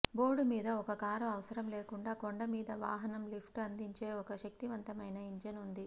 board మీద ఒక car అవసరం లేకుండా కొండ మీద వాహనం లిఫ్ట్ అందించే ఒక శక్తివంతమైన ఇంజిన్ ఉంది